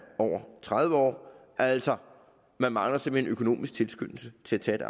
over tredive år altså man mangler simpelt økonomisk tilskyndelse til til at